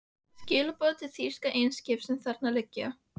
Skilaboð til þýskra eimskipa, sem þarna liggja.